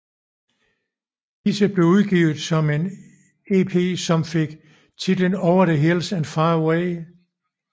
Disse blev udgivet på en ep som fik titlen Over the Hills and Far Away